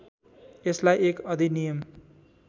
यसलाई एक अधिनियम